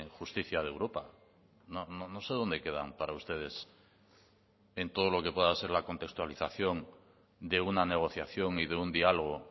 justicia de europa no sé dónde quedan para ustedes en todo lo que pueda ser la contextualización de una negociación y de un diálogo